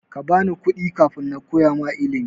Kabani kuɗi kafin nakoya ma ilimi.